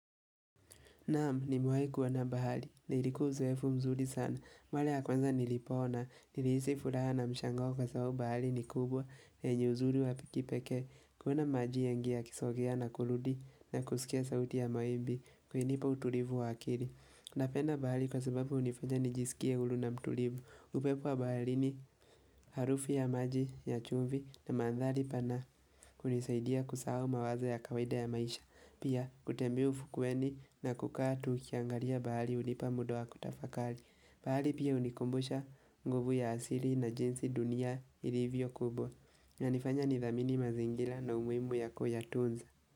Naam nimewahi kuona bahari, na ilikuwa uzoefu mzuri sana, mara ya kwanza nilipoona, nilihisi furaha na mshangao kwa sababu bahari ni kubwa, na yenye uzuri wa kipekee, kuona maji mengi yakisogea na kurudi, na kusikia sauti ya mawimbi, kulinipa utulivu wa akili. Napenda bahari kwa sababu unifanya nijisikie huru na mtulivu. Upepo wa baharini harufu ya maji ya chumvi na mandhari pana kunisaidia kusahau mawazo ya kawaida ya maisha. Pia kutembea ufukweni na kukaa tu nikiangalia bahari hunipa muda wa kutafakari. Bahari pia hunikumbusha nguvu ya asili na jinsi dunia ilivyo kubwa. Inanifanya nidhamini mazingira na umuhimu wa kuyatunza.